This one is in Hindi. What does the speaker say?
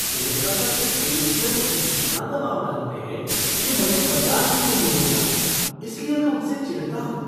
कोलकाता के सेल्समैन इतना दबाव डालते हैं कि मुझे बर्दाश्त ही नहीं होता, इसलिए मैं उनसे चिढ़ता हूँ।